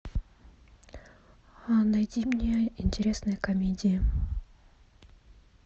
найди мне интересные комедии